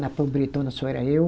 Na Pobretona só era eu.